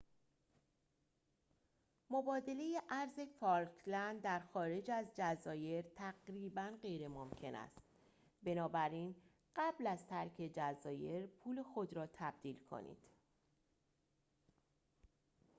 مبادله ارز فالکلند در خارج از جزایر تقریبا غیرممکن است بنابراین قبل از ترک جزایر پول خود را تبدیل کنید